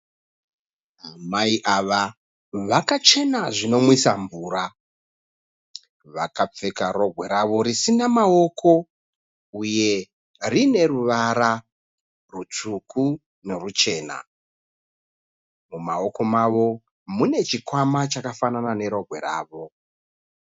Amai ava vakachena zvinomwisa mvura. Vakapfeka rogwe ravo risina mawoko uye rine ruvara rutsvuku noruchena. Mumawoko avo mune chikwama chakafanana nerogwe ravo.